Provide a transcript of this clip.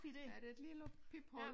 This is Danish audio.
Ja det et lille piphul